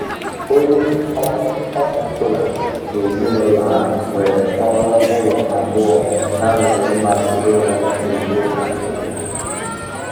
Onye ọ ọ bụla n'ezinụlọ ahụ nwere ọrụ ụlọ abụọ ha nwere mmasị ịrụ kwa izuụka ọbụla.